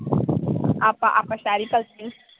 ਆਪਾਂ-ਆਪਾਂ ਸੈਰੀ ਕਲਸੀ